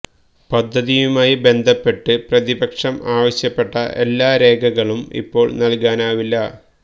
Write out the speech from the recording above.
പദ്ധതിയുമായി ബന്ധപ്പെട്ട് പ്രതിപക്ഷം ആവശ്യപ്പെട്ട എല്ലാ രേഖകളും ഇപ്പോൾ നൽകാനാവില്ല